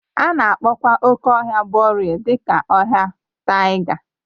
A na-akpọkwa oke ọhịa boreal dị ka ọhịa taiga